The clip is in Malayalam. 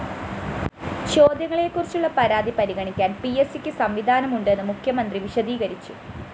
ചോദ്യങ്ങളെക്കുറിച്ചുള്ള പരാതി പരിഗണിക്കാന്‍ പിഎസ്‌സിക്ക് സംവിധാനമുണ്ടെന്നും മുഖ്യമന്ത്രി വിശദീകരിച്ചു